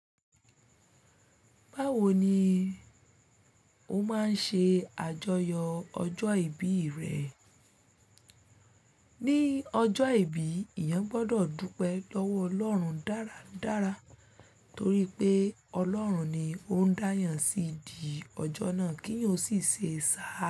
Báwo ni o máa ń ṣe àjọyọ̀ ọjọ́ ìbí rẹ? Ni ọjọ́ ìbí, èèyàn gbọdọ̀ dúpẹ́ lọ́wọ́ Ọlọ́run dáradára torí pé Ọlọ́run ni ó ń da eeyàn sí di ọjọ́ náà kí eeyan ò sì ṣe sá.